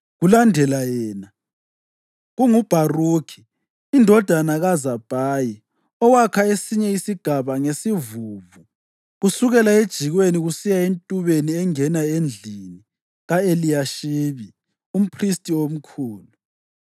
Kulandela yena, kunguBharukhi indodana kaZabhayi owakha esinye isigaba ngesivuvu, kusukela ejikweni kusiya entubeni engena endlini ka-Eliyashibi umphristi omkhulu.